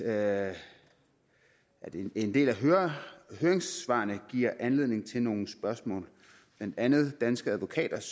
at en del af høringssvarene giver anledning til nogle spørgsmål blandt andet danske advokaters